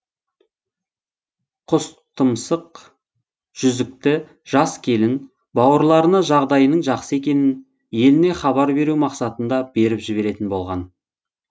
құстұмсық жүзікті жас келін бауырларына жағдайының жақсы екенін еліне хабар беру мақсатында беріп жіберетін болған